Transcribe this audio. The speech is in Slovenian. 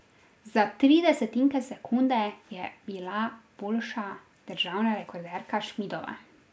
Za tri desetinke sekunde je bila boljša državna rekorderka Šmidova.